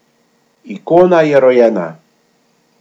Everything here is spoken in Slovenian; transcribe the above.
Ikona je rojena.